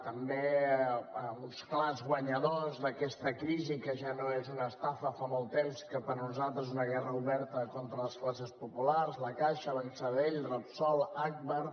també amb uns clars guanyadors d’aquesta crisi que ja no és una estafa fa molt temps que per nosaltres és una guerra oberta contra les classes populars la caixa banc sabadell repsol agbar